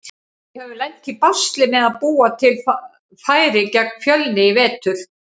Við höfum lent í basli með að búa til færi gegn Fjölni í vetur.